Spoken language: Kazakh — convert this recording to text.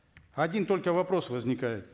один только вопрос возникает